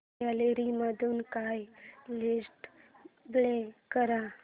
gallery मधून my list play कर